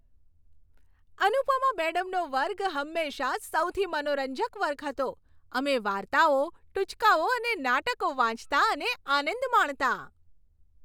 અનુપમા મેડમનો વર્ગ હંમેશાં સૌથી મનોરંજક વર્ગ હતો. અમે વાર્તાઓ, ટુચકાઓ અને નાટકો વાંચતા અને આનંદ માણતા.